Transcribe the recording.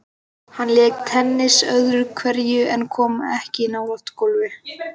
Hann lék tennis öðru hverju en kom ekki nálægt golfi.